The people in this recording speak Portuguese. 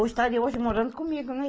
Ou estaria hoje morando comigo, né?